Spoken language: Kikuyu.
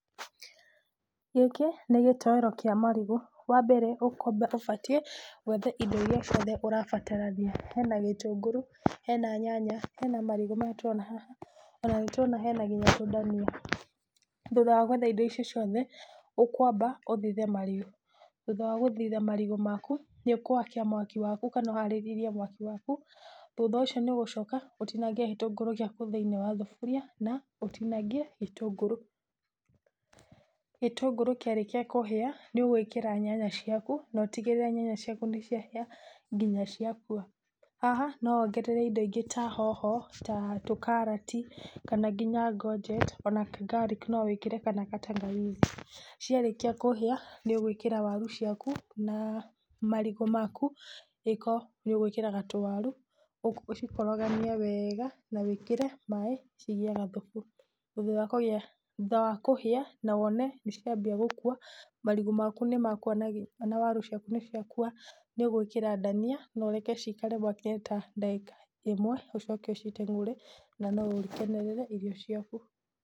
Gĩkĩ nĩ gĩtoero kĩa marigũ, wa mbere ũbatie wethe indo iria ciothe ũrabatarania, hena gĩtũngũrũ, hena nyanya, hena marigũ maya tũrona haha ona nĩ tũrona nginya hena tũndania. Thutha wa gwetha indo icio ciothe ũkwamba ũthithe marigũ thutha wa gũthitha marigũ nĩ ũgwakia mwaki waku kana ũharĩrĩrie mwaki waku, thutha ũcio nĩ ũgũcoka ũtinangie gĩtũngũrũ thĩinĩ wa thaburia na ũtinangie gĩtũngũrũ. Gĩtũngũrũ kĩarĩkia kũhĩa nĩ ũgwĩkĩra nyanya ciaku na ũtigĩrĩre nyanya ciaku nĩ cia hĩa nginya ciakua, haha no wongerere indo ingĩ ta hoho na tũtakarati ona kana ngonjeti ona kana ngarĩki ona kana gatangawizi, ciarĩkia kũhĩa nĩ ũgwĩkĩra waru ciaku na marigũ maku, angĩkorwo nĩ ũgwĩkĩraga tũwaru ũcikoragania wega na wĩkĩre maĩ cigĩe gathubu. Thutha wa kũhĩa na wone nĩ cianjia gũkua marigũ maku nĩ makwonagia ona waru ciaku nĩ cia kua na wĩkĩre ndania na ũreke cikare mwaki-inĩ ta ndagĩka ĩmwe ũcome ũciteng'ure na no ũkenerere irio ciaku.